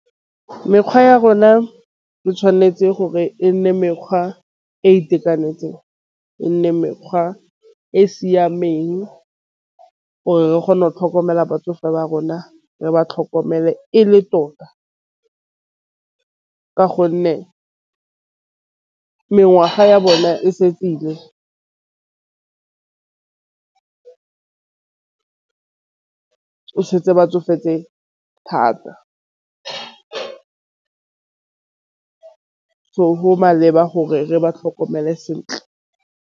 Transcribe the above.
Mekgwa ya rona e tšhwanetse gore e nne mekgwa e itekanetseng. E nne mekgwa e siameng gore re kgone go tlhokomela batsofe ba rona. Re ba tlhokomele e le tota ka gonne mengwaga ya bone e setse ile ba tsofetse thata. So, go maleba gore re ba tlhokomele sentle.